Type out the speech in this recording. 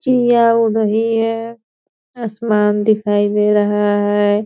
चिड़िया उड़ रही है असमान दिखाई दे रहा है।